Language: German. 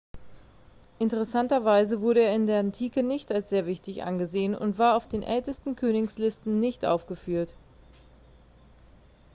interessanterweise wurde er in der antike nicht als sehr wichtig angesehen und war auf den ältesten königslisten nicht aufgeführt